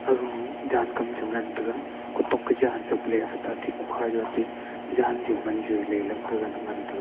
gema jan kam che ngan tega kotok ka jan chap le thete atey kokha du atey jan ju man ju le gaga ne ngan tega.